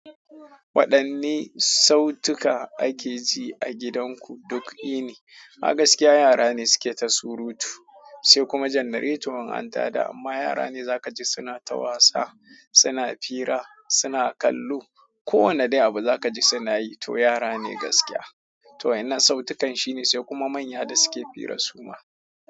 Waɗanne sautuka ake ji a gidanku duk yini? A gaskiya yara ne suke ta surutu, sai kuma jannaretu in anta da amma yara ne za ka ji suna ta wasa, suna fira, suna kallo. Ko wane dai abu za ka ji suna yi, to yara ne gaskiya. To wa'inna sautukan shine sai kuma manya da suke fira suma.